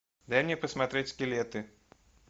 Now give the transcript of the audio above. дай мне посмотреть скелеты